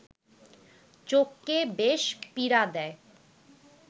চোখকে বেশ পীড়া দেয়